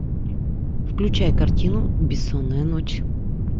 включай картину бессонная ночь